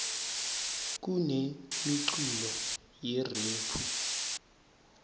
kunemiculo yerephu